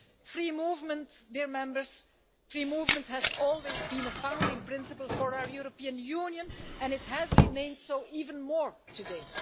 Free movement has always been a founding principle for our European Union and it has remained so even more today.